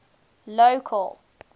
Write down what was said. local